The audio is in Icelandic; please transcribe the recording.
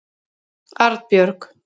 Arnbjörg